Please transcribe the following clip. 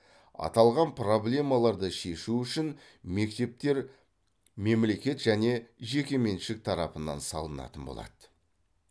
аталған проблемаларды шешу үшін мектептер мемлекет және жекеменшік тарапынан салынатын болады